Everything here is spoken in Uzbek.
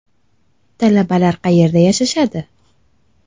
Talabalar qayerda yashashadi?